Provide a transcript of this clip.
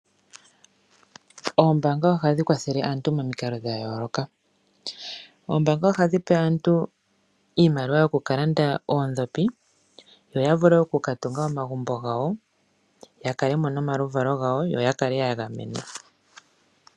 Oombanga ohadhi kwathele aantu momikalo dha yooloka. Oombanga ohadhi pe aantu iimaliwa yoku kalanda oondhopi yo vule oku ka tunga omagumbo gawo yakalemo nomaluvalo gawo yo yakalemo ya gamenwa.